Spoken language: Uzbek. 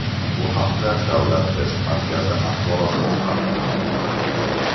Bu haqda Davlat test markazi axborot xizmati xabar qildi .